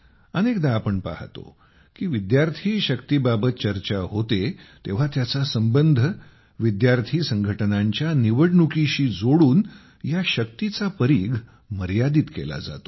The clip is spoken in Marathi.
अनेकदा आपण पाहतो की विद्यार्थी शक्तीबाबत चर्चा होते तेव्हा त्याचा संबंध विद्यार्थी संघटनांच्या निवडणुकीशी जोडून या शक्तीचा परीघ मर्यादित केला जातो